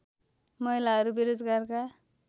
महिलाहरू बेरोजगारका